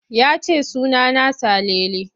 Ya ce suna na Salele.